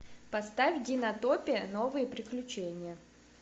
поставь динотопия новые приключения